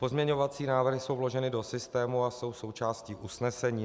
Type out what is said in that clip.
Pozměňovací návrhy jsou vloženy do systému a jsou součástí usnesení.